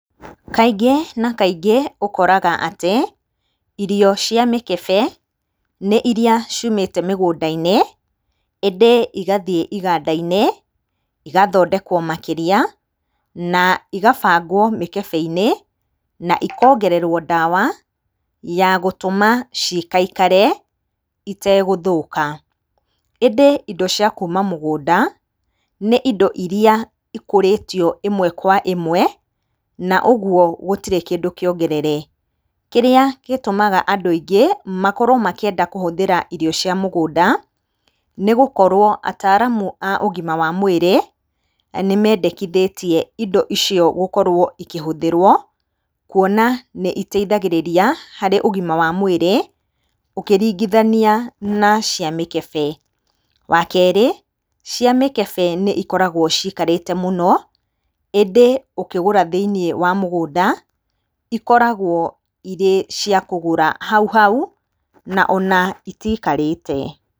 Kaingĩ na kaingĩ ũkoraga atĩ irio cia mĩkebe nĩ iria ciumĩte mĩgũnda-inĩ ĩndĩ igathiĩ iganda-inĩ igathondekwo makĩria na ikabangwo mikebe-inĩ na ikongererwo ndawa ya gũtũma cikaikare itegũthĩka. ĩndĩ indo cia kuma mũgũnda nĩ indo iria ikũrĩtio ĩmwe kwa ĩmwe na ũguo gũtirĩ kĩndũ kĩongerere. Kĩrĩa gĩtũmaga andũ aingĩ makorwo makĩenda kũhũthĩra irio cia mũgũnda nĩgũkorwo ataramũ a ũgima wa mwĩrĩ nĩmendekithĩtie indo icio gũkorwo ikĩhũthĩrwo kuona nĩ iteithagĩrĩragia harĩ ũgima wa mwĩrĩ ũkĩringithania na cia mĩkebe. Wakerĩ, cia mĩkebe nĩ cikoragwo cikarĩte mũno ĩndĩ ũkĩgũka thĩinĩ wa mũgũnda ikoragwo irĩ ciakũgũra hauhau ona itikarĩte.